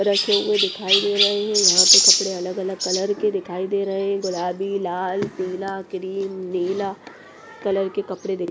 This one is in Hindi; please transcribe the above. रखे हुए दिखाई दे रहे हैं यहाँ पे कपड़े अलग-अलग कलर के दिखाई दे रहे हैं गुलाबी लाल पीला क्रीम नीला कलर के कपड़े देख--